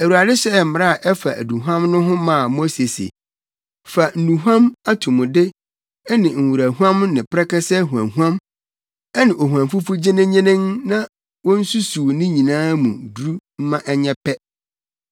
Awurade hyɛɛ mmara a ɛfa aduhuam no ho maa Mose se, “Fa nnuhuam atomude ne nworahuam ne prɛkɛsɛ huamhuam ne ohuamfufu gyenennyenen na wonsusuw ne nyinaa mu duru mma ɛnyɛ pɛ,